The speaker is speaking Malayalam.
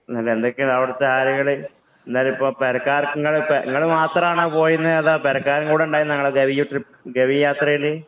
എന്നാല് എന്തൊക്കെയാണ് അവിടത്തെ കാര്യങ്ങള്. എന്താലിപ്പോ പെരക്കാര്‍ക്ക് നിങ്ങള് നിങ്ങള് മാത്രാണോ പോയിരുന്നേ. അതോ നിങ്ങടെ പെരക്കാര് കൂടിയുണ്ടായിരുന്നോ നിങ്ങടെ ഗവി ട്രിപ്പ്‌, ഗവി യാത്രയില്.